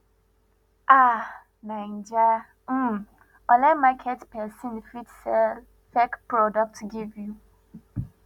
um naija um online market pesin fit sell fake products give you